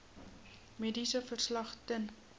mediese verslag ten